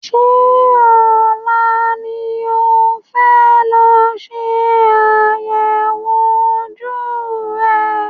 Ṣé ọ̀la ni o fẹ́ lọ ṣe àyẹ̀wò ojú rẹ?